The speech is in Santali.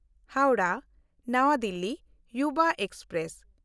ᱦᱟᱣᱲᱟᱦ–ᱱᱟᱣᱟ ᱫᱤᱞᱞᱤ ᱭᱩᱵᱟ ᱮᱠᱥᱯᱨᱮᱥ